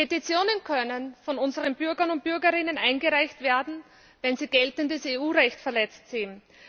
Petitionen können von unseren Bürgern und Bürgerinnen eingereicht werden, wenn sie geltendes EU Recht verletzt sehen.